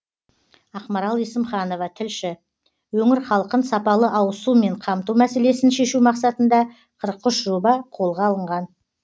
ақмарал есімханова тілші өңір халқын сапалы ауызсумен қамту мәселесін шешу мақсатында қырық үш жоба қолға алынған